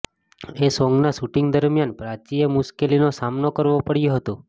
એ સોન્ગના શૂટિંગ દરમિયાન પ્રાચીએ મુશ્કેલીનો સામનો કરવો પડ્યો હતો